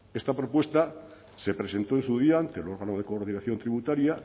esta propuesta se presentó en su día ante el órgano de coordinación tributaria